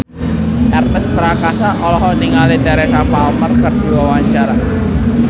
Ernest Prakasa olohok ningali Teresa Palmer keur diwawancara